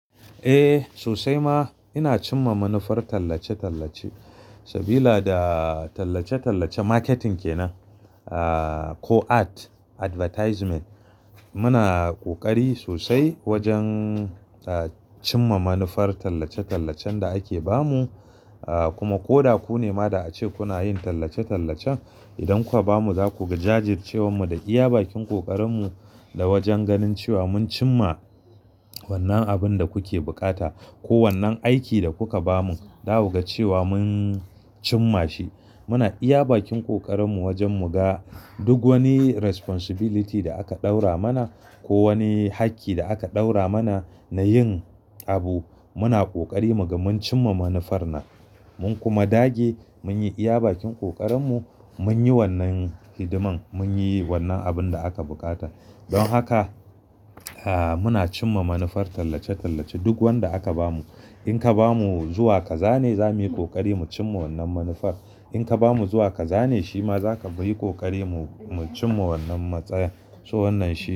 Eh, sosai ma ina cimma manufar tallace-tallace. Sabila da tallace-tallace marketing ke nan, ah, ko art advertisement. Muna ƙoƙari sosai wajen, ah, cimma manufar tallace-tallacen da ake ba mu. Ah, kuma ko da ku ne ma da ake kuna yin tallace-tallacen, idan kuka ba mu za ku jajircewan mu da iya bakin ƙoƙarin mu da wajen ganin cewa mun cimma wannan abin da kuke buƙata ko wannan aiki da kuka ba mu, da ku ga cewa mun cimma shi. Muna iya bakin ƙoƙarin mu wajen mu ga duk wani responsibility da aka ɗora mana ko wani hakki da aka ɗora mana na yin abu. Muna ƙoƙari muga mun cimma manufar nan. Mun kuma dage mun yi iya bakin ƙoƙarin mu mun yi wannan hidiman, mun yi wannan abin da aka buƙata. Don haka, ah, muna cimma manufar tallace-tallace duk wanda aka ba mu. In ka ba mu zuwa ka zane za muyi ƙoƙari mu cimma wannan manufar. In ka ba mu zuwa ka zane, shi ma za ka yi ƙoƙari mu cimma wannan matsayan to wannan shi.